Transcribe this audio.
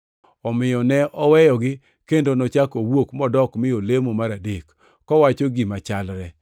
Omiyo ne oweyogi, kendo nochako owuok modok mi olemo mar adek, kowacho gima chalre.